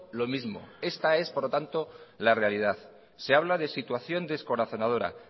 lo mismo esta es por lo tanto la realidad se habla de situación descorazonadora